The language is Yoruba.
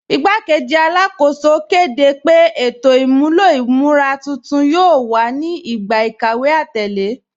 Ìgbàkẹ́jì Alákóṣò kẹ́dẹ́ pé ètò imúlọ̀ imúra tuntun yóò wà ní ìgbà ikàwé atẹlẹ.